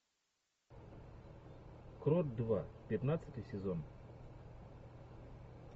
крот два пятнадцатый сезон